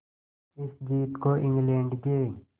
इस जीत को इंग्लैंड के